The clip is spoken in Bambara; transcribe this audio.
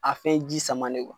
A fɛn ji samanen